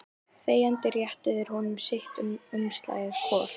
Þegjandi réttu þeir honum sitt umslagið hvor.